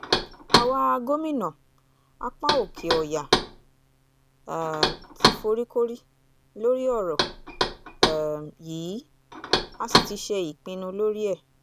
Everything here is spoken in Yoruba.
àwa gómìnà apá òkè-ọ̀yà um ti foríkorí lórí ọ̀rọ̀ um yìí a sì ti ṣe ìpinnu lórí ẹ̀